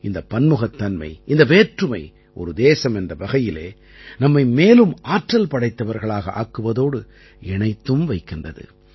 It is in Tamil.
இந்தப் பன்முகத்தன்மை இந்த வேற்றுமை ஒரு தேசம் என்ற வகையிலே நம்மை மேலும் ஆற்றல் படைத்தவர்களாக ஆக்குவதோடு இணைத்தும் வைக்கின்றது